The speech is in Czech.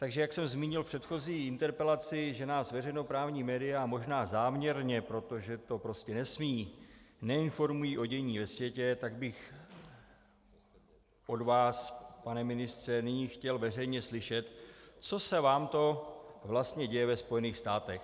Takže jak jsem zmínil v předchozí interpelaci, že nás veřejnoprávní media možná záměrně, protože to prostě nesmí, neinformují o dění ve světě, tak bych od vás, pane ministře, nyní chtěl veřejně slyšet, co se vám to vlastně děje ve Spojených státech.